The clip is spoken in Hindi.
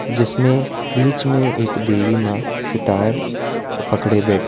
जिसमें बीच में एक देवी मां सितार पकड़े बैठी--